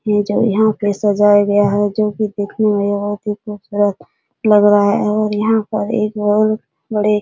ये जो यहां पे सजाया गया है जो की देखने में बहुत ही खूबसूरत लग रहा है और यहां पे एक बहुत बड़े --